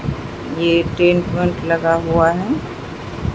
ये टेंट - वेंट लगा हुआ है।